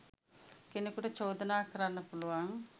කෙනෙකුට චෝදනා කරන්න පුළුවන්.